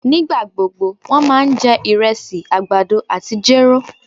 Nígbagbógbó wón ma jẹ irésì, àgbàdo àtí jéró